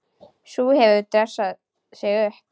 Sú hefur dressað sig upp!